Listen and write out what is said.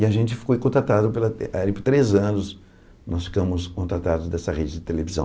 E a gente foi contratado, pela era por três anos, nós ficamos contratados dessa rede de televisão.